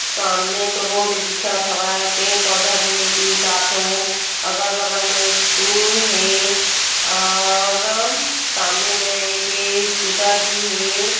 सामने तो रोड दिखत हवय पेड़-पौधा भी हे तीन-चार ठो अगल-बगल में स्कूल है और सामने म एक ए स्कूटर भी है।